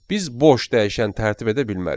Biz boş dəyişən tərtib edə bilmərik.